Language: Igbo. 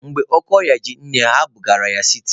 Mgbe oke ọrịa ji nne ha, ha buru ya gaba siti.